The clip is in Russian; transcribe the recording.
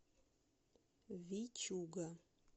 вичуга